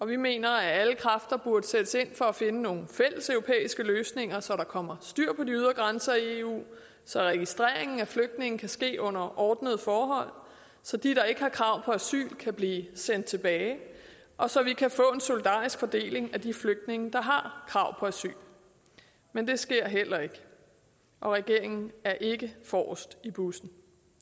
vi mener at alle kræfter burde sættes ind for at finde nogle fælles europæiske løsninger så der kommer styr på de ydre grænser i eu så registreringen af flygtninge kan ske under ordnede forhold så de der ikke har krav på asyl kan blive sendt tilbage og så vi kan få en solidarisk fordeling af de flygtninge der har krav på asyl men det sker heller ikke og regeringen er ikke forrest i bussen